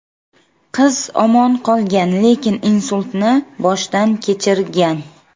Qiz omon qolgan, lekin insultni boshdan kechirgan.